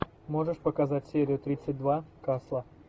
можешь показать серию тридцать два касла